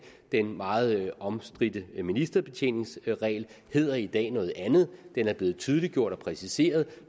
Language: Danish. den meget omstridte ministerbetjeningsregel hedder i dag noget andet den er blevet tydeliggjort og præciseret